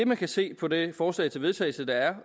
man kan se på det forslag til vedtagelse der er